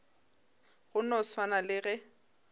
go no swana le ge